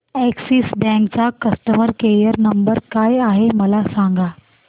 Axis bank चा customer care number काय आहे मला सांगा